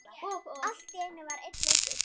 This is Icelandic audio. Allt var enn leikur.